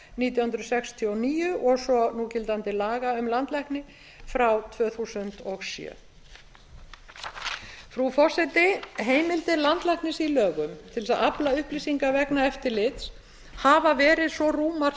hundruð sextíu og níu og svo núgildandi laga um landlækni frá tvö þúsund og sjö frú forseti heimildir landlæknis í lögum til þess að afla upplýsinga vegna eftirlits hafa verið svo rúmar